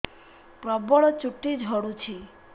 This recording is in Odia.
ପ୍ରବଳ ଚୁଟି ଝଡୁଛି